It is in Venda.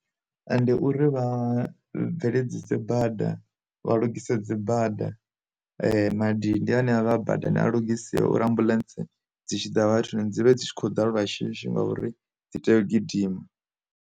Ende uri vha bveledzisa bada, vha lugise dzi bada, madindi ane avha badani a lugisiwe uri ambuḽentse dzi tshi ḓa vhathuni, dzi vhe dzi tshi khou ḓa lwa shishi ngauri dzi tea u gidima.